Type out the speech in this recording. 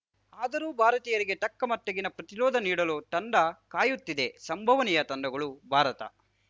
ಆದರೂ ಭಾರತೀಯರಿಗೆ ತಕ್ಕಮಟ್ಟಿಗಿನ ಪ್ರತಿರೋಧ ನೀಡಲು ತಂಡ ಕಾಯುತ್ತಿದೆ ಸಂಭವನೀಯ ತಂಡಗಳು ಭಾರತ